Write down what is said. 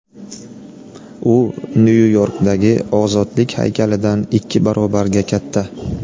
U Nyu-Yorkdagi Ozodlik haykalidan ikki barobarga katta.